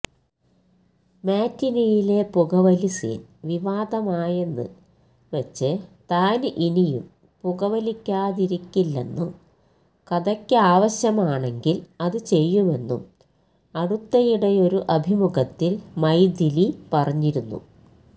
മാറ്റ്നിയിലെ പുകവലി സീന് വിവാദമായെന്ന് വച്ച് താനിനിയും പുകവലിയ്ക്കാതിരിക്കില്ലെന്നും കഥയ്ക്കാവശ്യമാണെങ്കില് അത് ചെയ്യുമെന്നും അടുത്തിടെയൊരു അഭിമുഖത്തില് മൈഥിലി പറഞ്ഞിരുന്നു